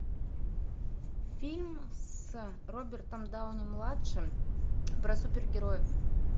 фильм с робертом дауни младшим про супергероев